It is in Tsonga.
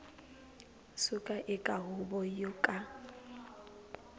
suka eka huvo yo ka